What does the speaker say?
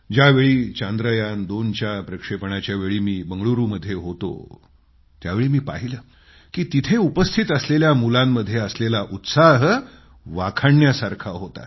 ज्यावेळी चांद्रयान2 च्या प्रक्षेपणाच्यावेळी मी बंगळुरूमध्ये होतो त्यावेळी पाहिलं की तिथं उपस्थित असलेल्या मुलांमध्ये असलेला उत्साह वाखाणण्यासारखा होता